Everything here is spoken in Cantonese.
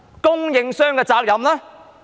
供應商的責任呢？